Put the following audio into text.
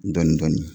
Dɔɔnin dɔɔnin